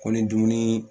Ko ni dumuni